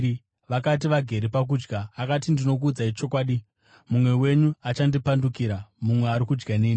Vakati vagere pakudya, akati, “Ndinokuudzai chokwadi, mumwe wenyu achandipandukira, mumwe ari kudya neni.”